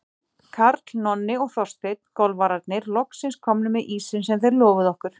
Karl, Nonni og Þorsteinn, golfararnir, loks komnir með ísinn sem þeir lofuðu okkur.